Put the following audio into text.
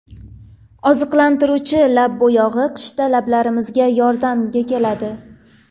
Oziqlantiruvchi lab bo‘yog‘i qishda lablarimizga yordamga keladi.